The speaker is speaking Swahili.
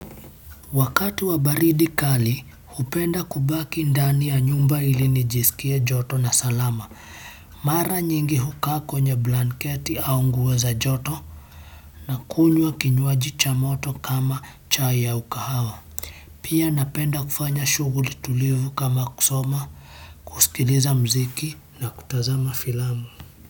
Wakati wa baridi kali, upenda kubaki ndani ya nyumba ili nijisikia joto na salama. Mara nyingi hukaa kwenye blanketi au nguo za joto na kunywa kinywaji cha moto kama chai au kahawa. Pia napenda kufanya shughuli tulivu kama kusoma, kusikiliza mziki na kutazama filamu.